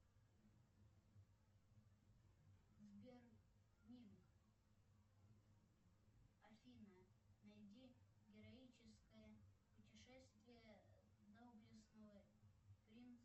сбер минг афина найди героическое путешествие доблестного принца